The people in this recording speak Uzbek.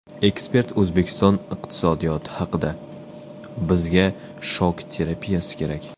Ekspert O‘zbekiston iqtisodiyoti haqida: Bizga shok terapiyasi kerak.